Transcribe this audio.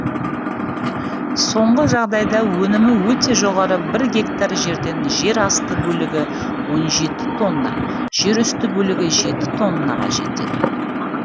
соңғы жағдайда өнімі өте жоғары бір гектар жерден жер асты бөлігі он жеті тонна жер үсті бөлігі жеті тоннаға жетеді